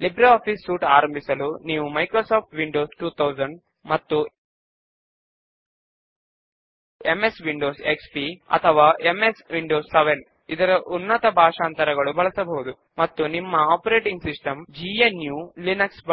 ను క్రియేట్ చేసి ఆ తరువాత ఆ సభ్యులు ఇంకా రిటర్న్ చేయని బుక్స్ ను లిస్ట్ చేస్తూ దాని క్రింద ఒక సబ్ ఫామ్ ను క్రియేట్ చేయడము ఒక పద్ధతి